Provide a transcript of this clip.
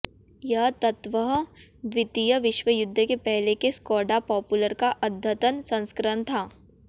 यह तत्वतः द्वितीय विश्व युद्ध के पहले के स्कोडा पॉपुलर का अद्यतन संस्करण था